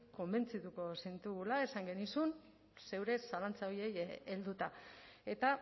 konbentzituko zintugula esan genizun zeure zalantza horiei helduta eta